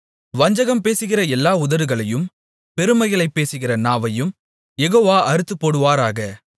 வஞ்சகம் பேசுகிற எல்லா உதடுகளையும் பெருமைகளைப் பேசுகிற நாவையும் யெகோவா அறுத்துப்போடுவாராக